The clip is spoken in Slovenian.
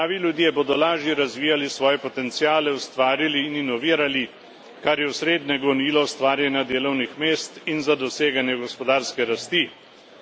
Zdravi ljudje bodo lažje razvijali svoje potenciale, ustvarjali in inovirali, kar je osrednje gonilo ustvarjanja delovnih mest in za doseganje gospodarske rasti.